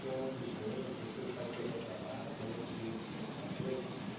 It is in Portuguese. Tem um monte de gente, você vai pegar o trabalho, tem alguém que te diz o que você tem que fazer, como que é?